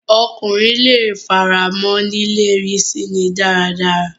Ọkùnrin leè f'ara mọ́ lílérí síni dáradára.